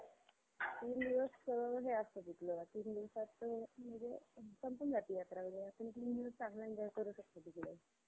खूप प्रमाणात, वाढत वाढत त्यांचा अं step खूप last पर्यंत आल्या. खूप लोकं दगावली. पण